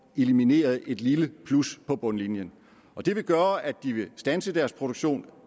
elimineret et lille plus på bundlinjen det vil gøre at de vil standse deres produktion